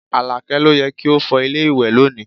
Alake ló yẹ kí o fọ ilé ìwẹ̀ lónìí